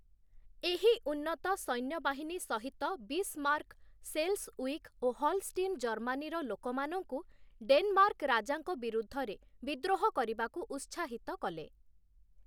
ଏହି ଉନ୍ନତ ସୈନ୍ୟବାହିନୀ ସହିତ ବିସ୍ମାର୍କ୍, ସେଲ୍‌ସ୍ୱିଗ୍ ଓ ହଲଷ୍ଟିନ୍ ଜର୍ମାନୀର ଲୋକମାନଙ୍କୁ, ଡେନମାର୍କ୍ ରାଜାଙ୍କ ବିରୁଦ୍ଧରେ ବିଦ୍ରୋହ କରିବାକୁ ଉତ୍ସାହିତ କଲେ ।